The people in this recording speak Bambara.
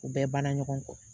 U bɛɛ ban na ɲɔgɔn kɔ.